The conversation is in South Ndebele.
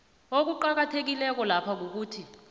okuqakathekileko lapha kukuthi